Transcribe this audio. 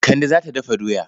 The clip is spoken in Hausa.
Kande za ta dafa doya.